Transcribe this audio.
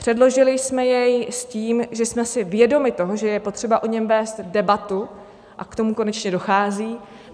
Předložili jsme jej s tím, že jsme si vědomi toho, že je potřeba o něm vést debatu - a k tomu konečně dochází;